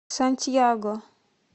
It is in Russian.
сантьяго